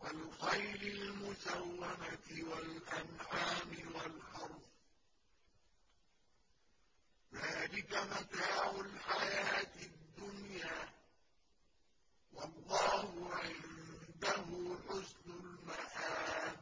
وَالْخَيْلِ الْمُسَوَّمَةِ وَالْأَنْعَامِ وَالْحَرْثِ ۗ ذَٰلِكَ مَتَاعُ الْحَيَاةِ الدُّنْيَا ۖ وَاللَّهُ عِندَهُ حُسْنُ الْمَآبِ